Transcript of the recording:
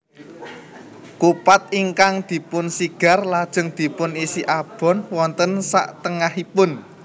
Kupat ingkang dipun sigar lajeng dipun isi abon wonten saktengahipun